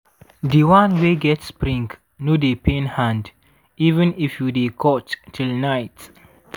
di one wey get spring no dey pain hand even if you dey cut till night.